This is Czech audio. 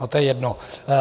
Ale to je jedno.